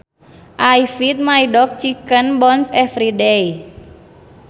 I feed my dog chicken bones every day